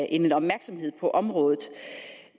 end opmærksomhed på området